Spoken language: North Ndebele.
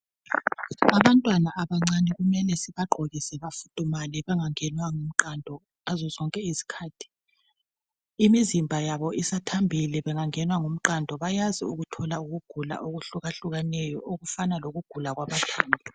Abantwana abancane kumele sibagqokise bafudumale bangangenwa ngumqando ngazozonke izikhathi imizimba yabo isathambile bengangenwa ngumqando bayazi ukuthola ukugula okuhluka hlukeneyo okufana lokugula kwabantwana.